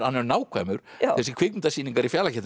nákvæmur þessar kvikmyndasýningar í